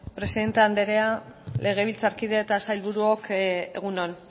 presidente andrea legebiltzarkide eta sailburuok egun on